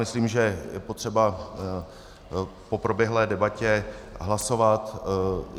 Myslím, že je potřeba po proběhlé debatě hlasovat.